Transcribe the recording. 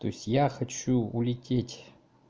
то есть я хочу улететь